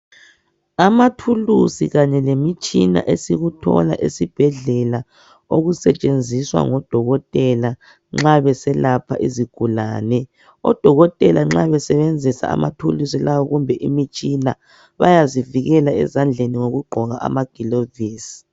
Amathuluzi Kanye lemitshina esikhona esibhedlela okusetshenziswa ngodokotela nxa beselapha izigulane. Odokotela nxa besebenzisa amathulusi lawa kumbe imitshina bayazivikela ezandleni ngokugqoka amagilovisi